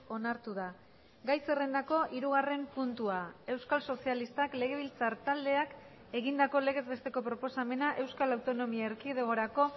onartu da gai zerrendako hirugarren puntua euskal sozialistak legebiltzar taldeak egindako legez besteko proposamena euskal autonomia erkidegorako